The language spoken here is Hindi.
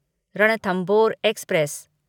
रणथंबोर एक्सप्रेस